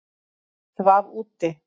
Svaf úti